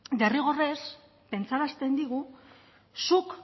derrigorrez pentsarazten digu zuk